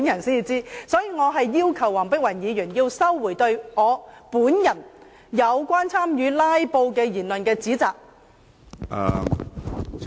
所以，我要求黃碧雲議員收回有關我本人參與"拉布"的言論和指責。